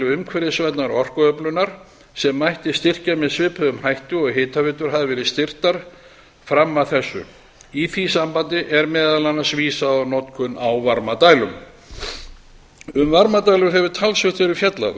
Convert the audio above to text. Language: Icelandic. umhverfisvænnar orkuöflunar sem mætti styrkja með svipuðum hætti og hitaveitur hafa verið styrktar fram að þessu í því sambandi er meðal annars vísað á notkun á varmadælum um varmadælur hefur talsvert verið fjallað